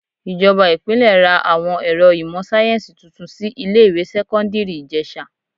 Ìjọba Ìpínlẹ̀ ra àwọn ẹ̀rọ ìmò sáyẹ́nsì tuntun sí ilé ìwé sẹ́kọ́ńdírì Ìjẹ̀sà..